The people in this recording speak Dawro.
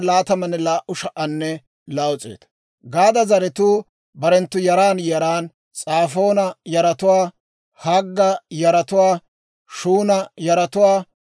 Gaada zaratuu barenttu yaran yaran: S'aafoona yaratuwaa, Hagga yaratuwaa, Shuuna yaratuwaa,